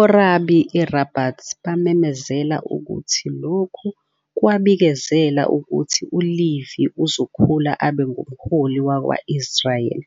Orabi eRabat bamemezela ukuthi lokhu kwabikezela ukuthi uLevy uzokhula abe "ngumholi wakwa-Israyeli",